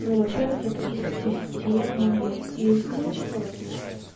ну во-первых это из системы из ну типо